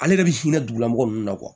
Ale yɛrɛ bi sin ka dug'ila mɔgɔ nunnu na